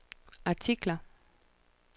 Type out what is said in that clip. artikler